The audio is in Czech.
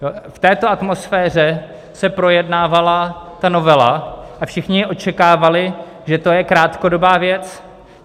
V této atmosféře se projednávala ta novela a všichni očekávali, že to je krátkodobá věc.